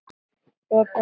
Betra, segir Ásgeir.